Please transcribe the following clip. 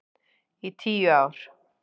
Í tíu ár.